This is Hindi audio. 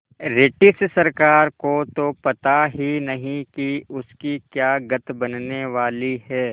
रिटिश सरकार को तो पता ही नहीं कि उसकी क्या गत बनने वाली है